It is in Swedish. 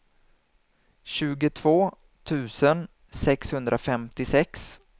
tjugotvå tusen sexhundrafemtiosex